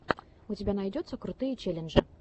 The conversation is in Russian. у тебя найдется крутые челленджи